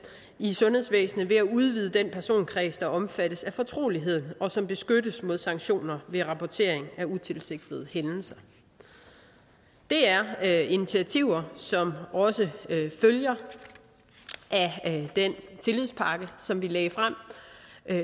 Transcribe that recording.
i sundhedsvæsenet ved at udvide den personkreds der omfattes af fortroligheden og som beskyttes mod sanktioner ved rapporteringen af utilsigtede hændelser det er initiativer som også følger af den tillidspakke som vi lagde frem